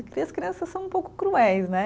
E as crianças são um pouco cruéis, né?